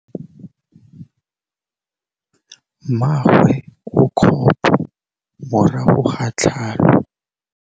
Mmagwe o kgapô morago ga tlhalô.